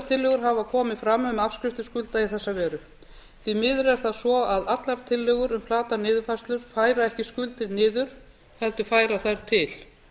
tillögur hafa komið fram um afskriftir skulda í þessa veru því miður er það svo að allar tillögur um flata niðurfærslu færa ekki skuldir niður heldur færa þær til